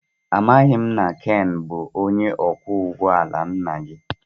Amaghị m na Ken bụ onye ọkwọ ụgbọ ala nna gị